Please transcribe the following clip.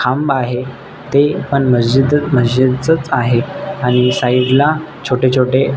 खांब आहे ते पण मस्जिद मस्जिद च आहे आणि साईड ला छोटेछोटे--